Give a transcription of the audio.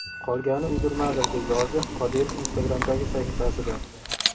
Qolgani uydirmadir!”, – deb yozdi Qodirov Instagram’dagi sahifasida.